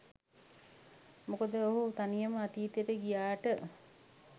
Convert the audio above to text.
මොකද ඔහු තනියම අතීතයට ගියාට